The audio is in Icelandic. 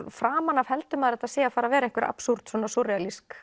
framan af heldur maður að þetta sé að fara að vera einhver absúrd